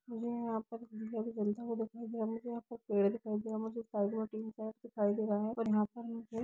मुझे यहां पर दिया भी जलता हुआ दिखाई दे रहा है मुझे यहां पर पेड़ दिखाई दे रहा मुझे साइड में पिंक कलर दिखाई दे रहा है और यहां पर मुझे --